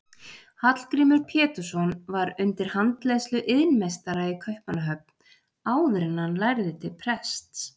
Hallgrímur Pétursson var undir handleiðslu iðnmeistara í Kaupmannahöfn áður en hann lærði til prests.